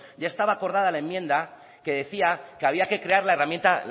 ya estaba acordada la enmienda que decía que había que crear la herramienta